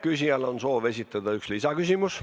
Küsija soovib esitada ühe lisaküsimuse.